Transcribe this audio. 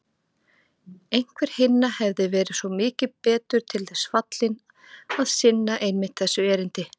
Einhver hinna hefði verið svo mikið betur til þess fallinn að sinna einmitt þessu erindi.